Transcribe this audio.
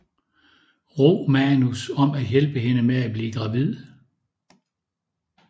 Romanus om at hjælpe hende med at blive gravid